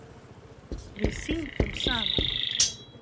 Við syngjum saman.